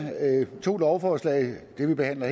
to lovforslag det vi behandler